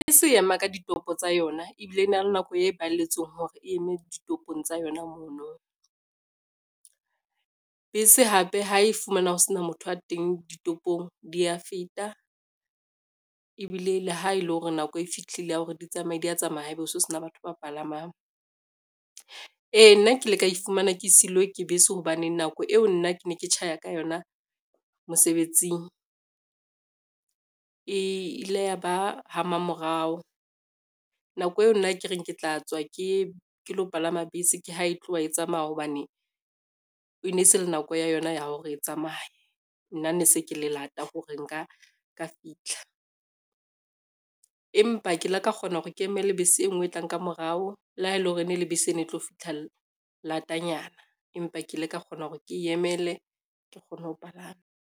Bese e ema ka ditopo tsa yona ebile e na le nako e balletsweng hore e eme ditopong tsa yona mono. Bese hape ha e fumana ho sena motho a teng ditopong dia feta, ebile le ha ele hore nako e fihlile ya hore di tsamaye di a tsamaya ha ebe o so sena batho ba palamang. Ee nna ke kile ka ifumana ke seilwe ke bese, hobaneng nako eo nna ke ne ke tjhaya ka yona mosebetsing e ile ya ba ha mamorao, nako eo nna ke reng ke tla tswa ke lo palama bese, ke ha e tloha e tsamaya hobane e ne e se le nako ya yona ya hore e tsamaye. Nna ne se ke le lata hore nka ka fitlha, empa ke ile ka kgona hore ke emele bese e ngwe e tlang ka morao le ha e le hore ene le bese e ne tlo fitlha latanyana, empa ke ile ka kgona hore ke emele ke kgone ho palama.